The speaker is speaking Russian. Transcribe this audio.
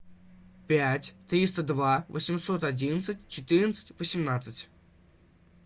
пять триста два восемьсот одиннадцать четырнадцать восемнадцать